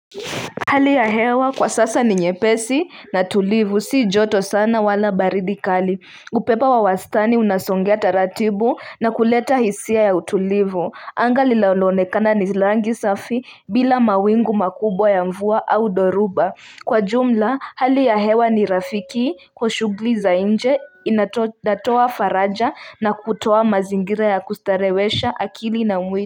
Hali ya hewa kwa sasa ni nyepesi na tulivu si joto sana wala baridi kali. Upepo wa wastani unasongea taratibu na kuleta hisia ya utulivu. Anga linalokana ni rangi safi bila mawingu makubwa ya mvua au dhoruba. Kwa jumla hali ya hewa ni rafiki kwa shughuli za nje, inatoa faraja na kutoa mazingira ya kustarewesha akili na mwili.